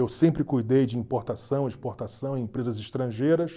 Eu sempre cuidei de importação, exportação em empresas estrangeiras.